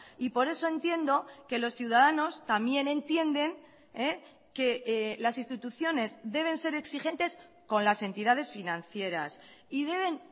y por eso entiendo que los ciudadanos también entienden que las instituciones deben ser exigentes con las entidades financieras y deben